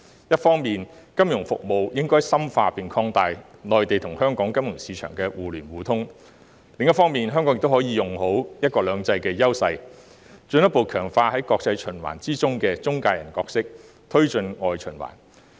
一方面，金融服務應該深化並擴大內地與香港金融市場互聯互通；另一方面，香港可以利用"一國兩制"的優勢，進一步強化在國際循環中的中介人角色，推進外循環。